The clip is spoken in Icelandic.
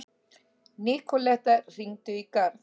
Nikoletta, hringdu í Garð.